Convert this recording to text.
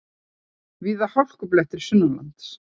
Víða hálkublettir sunnanlands